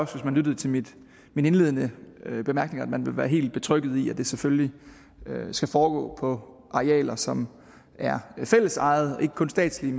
man lyttede til mine indledende bemærkninger vil være helt betrygget i at det selvfølgelig skal foregå på arealer som er fællesejede ikke kun statslige